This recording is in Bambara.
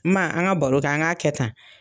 Ma an ka baro kɛ an ka kɛ tan.